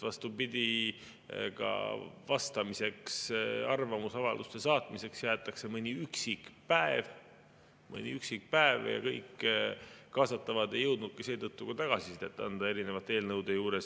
Vastupidi, ka vastamiseks, arvamusavalduste saatmiseks jäetakse mõni üksik päev – mõni üksik päev – ja kõik kaasatavad ei jõudnudki seetõttu tagasisidet anda erinevate eelnõude puhul.